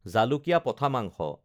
জালুকীয়া পঠা মাংস